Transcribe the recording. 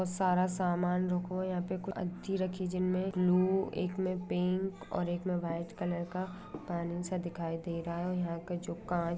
सारा सामान रुको यहां पे कुछ अच्गी रखी हैजिस्में लू एक मैं पिंक एक में वाइट कलर का पानी सा दिखाई दे रहा है और यहां का जो कांच--